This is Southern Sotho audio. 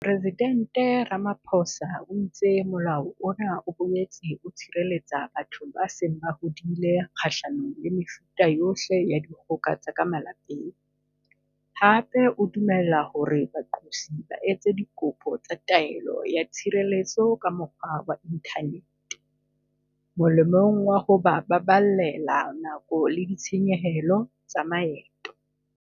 Mopresidente Ramaphosa o itse molao ona o boetse o tshireletsa batho ba seng ba hodile kgahlanong le mefuta yohle ya dikgoka tsa ka malapeng, hape o dumella hore baqosi ba etse dikopo tsa taelo ya tshireletso ka mokgwa wa inthanete, molemong wa ho ba baballela nako le ditshenyehelo tsa maeto.